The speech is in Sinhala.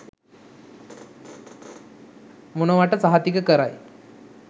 මොනවට සහතික කරයි.